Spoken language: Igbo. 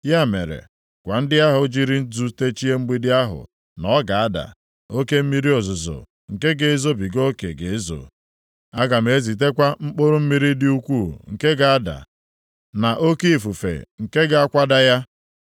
Ya mere, gwa ndị ahụ jiri nzu techie mgbidi ahụ na ọ ga-ada. Oke mmiri ozuzo nke ga-ezobiga oke ga-ezo, aga m ezitekwa mkpụrụ mmiri dị ukwuu nke ga-ada, na oke ifufe nke ga-akwada ya.